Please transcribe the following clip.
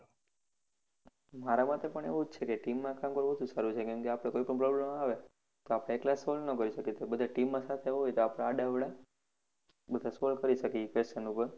મારા માટે પણ એવું જ છે team માં કામ કરવું વધુ સારું છે કેમ કે આપણે કોઈ પણ problem આવે તો આપણે એકલા solve ના કરી શકીએ તો બધા સાથે આડા અવડા બધા solve કરી શકીએ એ question ઉપ્પર